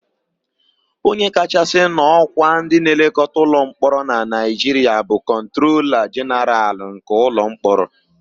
Onye kachasị n'ọ́kwá ndịnlekọta ụlọmkpọrọ na Naịjiria bụ kọntrola jenaralụ nke ụlọmkpọrọ.